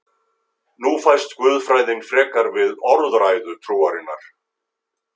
Nú fæst guðfræðin frekar við orðræðu trúarinnar.